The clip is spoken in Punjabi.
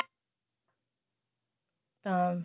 ਅਹ